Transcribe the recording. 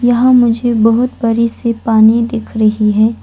यहाँ मुझे बहुत बड़ी सी पानी दिख रही है।